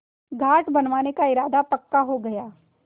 घाट बनवाने का इरादा पक्का हो गया